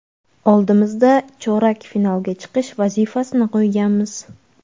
Oldimizda chorak finalga chiqish vazifasini qo‘yganmiz.